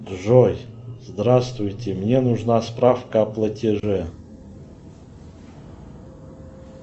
джой здравствуйте мне нужна справка о платеже